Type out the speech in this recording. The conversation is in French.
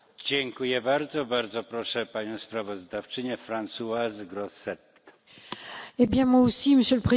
Monsieur le Président, je voudrais d'abord remercier tous nos collègues qui sont intervenus et qui ont apporté leur soutien.